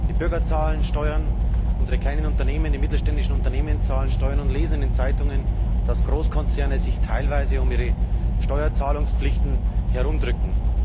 Die Bürger zahlen Steuern, unsere kleinen und mittelständischen Unternehmen zahlen Steuern und lesen in den Zeitungen, dass Großkonzerne sich teilweise um ihre Steuerzahlungspflichten herum drücken.